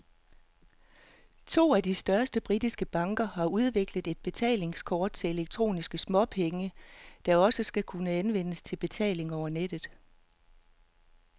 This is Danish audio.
To af de største britiske banker har udviklet et betalingskort til elektroniske småpenge, der også skal kunne anvendes til betaling over nettet.